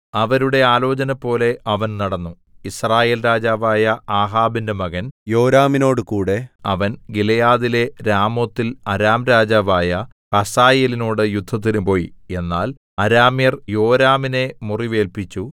അവരുടെ ആലോചനപോലെ അവൻ നടന്നു യിസ്രായേൽ രാജാവായ ആഹാബിന്റെ മകൻ യോരാമിനോടുകൂടെ അവൻ ഗിലെയാദിലെ രാമോത്തിൽ അരാം രാജാവായ ഹസായേലിനോട് യുദ്ധത്തിന് പോയി എന്നാൽ അരാമ്യർ യോരാമിനെ മുറിവേല്പിച്ചു